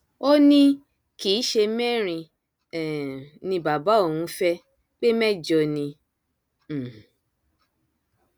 ó ní kì í ṣe mẹrin um ni bàbá òun fẹ pé mẹjọ ni um